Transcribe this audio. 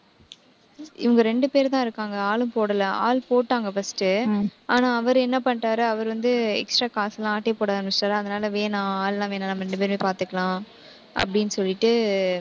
இவங்க ரெண்டு பேருதான் இருக்காங்க. ஆளும் போடல. ஆள் போட்டாங்க first ஆனா அவரு என்ன பண்ணிட்டாரு, அவரு வந்து extra காசு எல்லாம் ஆட்டைய போட ஆரம்பிச்சுட்டாரு. அதனால, வேணாம் ஆள் எல்லாம் வேணாம் நம்ம ரெண்டு பேரே பார்த்துக்கலாம் அப்படின்னு சொல்லிட்டு